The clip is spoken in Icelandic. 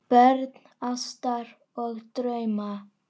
Börn ástar og drauma